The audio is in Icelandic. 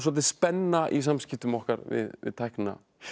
spenna í samskiptum okkar við við tæknina